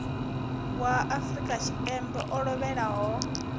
wa afrika tshipembe o lovhelaho